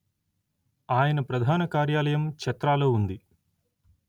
ఆయన ప్రధాన కార్యాలయం చక్రాలో ఉంది